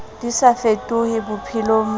di sa fetohe bophelong ba